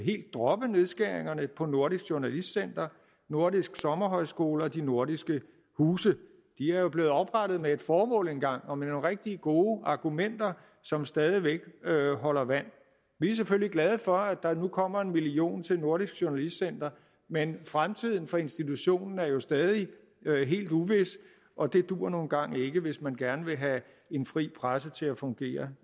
droppe nedskæringerne på nordisk journalistcenter nordiske sommerhøjskoler og de nordiske huse de er jo blevet oprettet med et formål engang og med nogle rigtig gode argumenter som stadig væk holder vand vi er selvfølgelig glade for at der nu kommer en million kroner til nordisk journalistcenter men fremtiden for institutionen er jo stadig helt uvis og det duer nu engang ikke hvis man gerne vil have en fri presse til at fungere